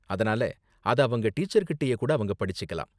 அதனால, அத அவங்க டீச்சர் கிட்டயே கூட அவங்க படிச்சிக்கலாம்.